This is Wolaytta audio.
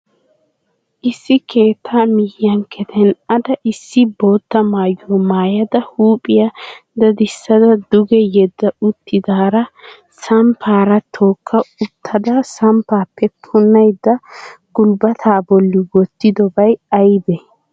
Issi keettaa miyan keten"ada issi bootta maayuwa maayada huuphphiya dadissada duge yedda uttidaara samppaara tookka uttida samppaappe punnaydda gulbataa bolli wottidobay aybee?